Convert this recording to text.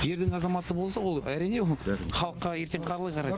жердің азаматы болса ол әрине ол халыққа ертең қалай қарайды